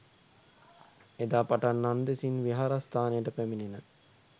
එදා පටන් නන්දෙසින් විහාරස්ථානයට පැමිණෙන